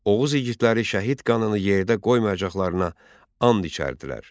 Oğuz igidləri şəhid qanını yerdə qoymayacaqlarına and içərdilər.